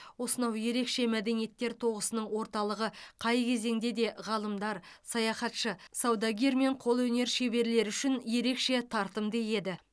осынау ерекше мәдениеттер тоғысының орталығы қай кезеңде де ғалымдар саяхатшы саудагер мен қолөнер шеберлері үшін ерекше тартымды еді